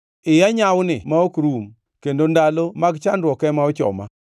Iya nyawni ma ok rum; kendo ndalo mag chandruok ema ochoma.